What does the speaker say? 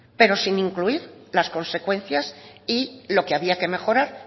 pero sin incluir las consecuencias y lo que había que mejorar